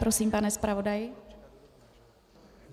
Prosím, pane zpravodaji.